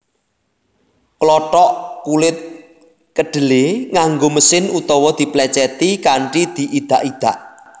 Klothok kulit kedhelé nganggo mesin utawa diplècèti kanthi diidak idak